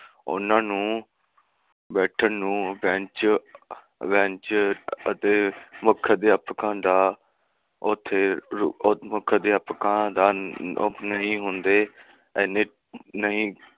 ਉਨ੍ਹਾਂ ਨੂੰ ਬੈਠਣ ਨੂੰ ਬੇਂਚ ਅਤੇ ਮੁੱਖ ਅਧਿਆਪਕਾਂ ਦਾ ਉਥੇ, ਮੁੱਖ ਅਧਿਆਪਕਾਂ ਦਾ ਨਹੀਂ ਹੁੰਦੇ, ਇਹਨੇ ਨਹੀਂ